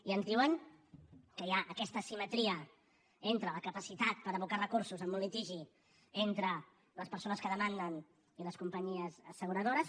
i ens diuen que hi ha aquesta asimetria entre la capacitat per abocar recursos en un litigi entre les persones que demanden i les companyies asseguradores